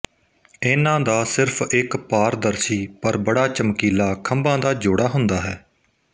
ਇਨ੍ਹਾਂ ਦਾ ਸਿਰਫ਼ ਇੱਕ ਪਾਰਦਰਸ਼ੀ ਪਰ ਬੜਾ ਚਮਕੀਲਾ ਖੰਭਾਂ ਦਾ ਜੋੜਾ ਹੁੰਦਾ ਹੈ